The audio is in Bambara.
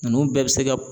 Ninnu bɛɛ bɛ se ka